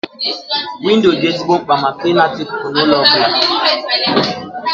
Windo dị ezigbo mkpa maka ịnata ikuku na ụlọ ọbụla